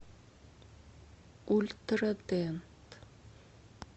ультрадент